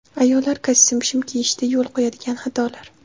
Ayollar kostyum-shim kiyishda yo‘l qo‘yadigan xatolar.